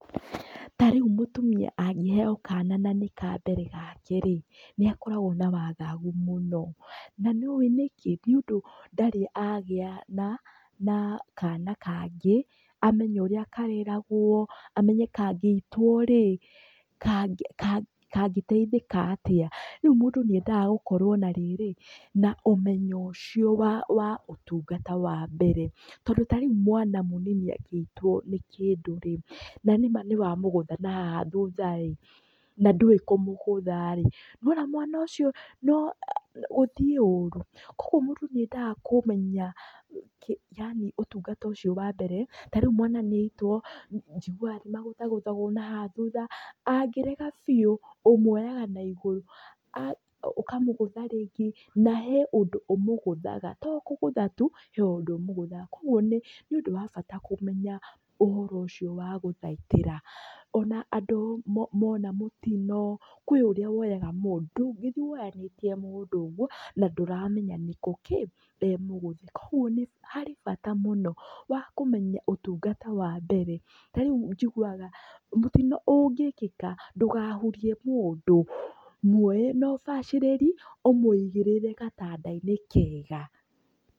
Ta rĩu mũtumia angĩheyo kana na nĩ ka mbere gake rĩ, nĩ akoragwo na wagagu mũno. Na nĩ ũĩ nĩ kĩ? Nĩ ũndũ ndarĩ agĩa na na kana kangĩ, amenye ũrĩa kareragwo, amenye kangĩitwo rĩ, kangĩteithĩka atĩa. Rĩu mũndũ nĩ endaga gũkorwo na rĩrĩ, na ũmenyo ũcio wa wa ũtungata wa mbere. Tondũ ta rĩu mwana mũnini angĩitwo nĩ kĩndũ rĩ, na nĩma nĩ wa mũgũtha nahaha thutha ĩ, na ndũwĩ kũmũgũtha rĩ, nĩwona mwana ũcio no gũthiĩ ũru. Koguo mũndũ nĩ endaga kũmenya yaani ũtungata ũcio wa mbere, ta rĩu mwana nĩ aitwo, njiguaga nĩ magũthagũthagwo na haha thutha. Angĩrega biũ, ũmuoyaga na igũrũ, ũkamũgũtha rĩngĩ, na he ũndũ ũmũgũthaga, to kũgũtha tu, he ũndũ ũmũgũthaga. Koguo nĩ ũndũ wa bata kũmenya ũhoro ũcio wa gũthaitĩra. Ona andũ mona mũtino, kwĩ ũrĩa woyaga mũndũ, ndũngĩthiĩ woyanĩtie, koguo nĩ harĩ bata mũno wa kũmenya ũtungata wa mbere. Na rĩu njiguaga, mũtino ũngĩkĩka, ndũgahurie mũndũ. Muoye na ũbacĩrĩri, ũmũigĩrĩre gatanda-inĩ kega.